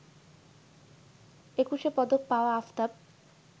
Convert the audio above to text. একুশে পদক পাওয়া আফতাব